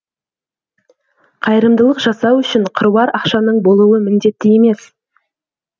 қайырымдылық жасау үшін қыруар ақшаның болуы міндетті емес